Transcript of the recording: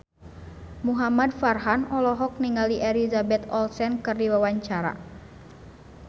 Muhamad Farhan olohok ningali Elizabeth Olsen keur diwawancara